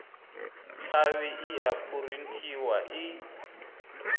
tshavhi i a phurinthiwa i